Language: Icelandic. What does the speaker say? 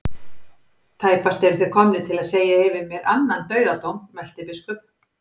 Tæpast eruð þið komnir til þess að segja yfir mér annan dauðadóm, mælti biskup.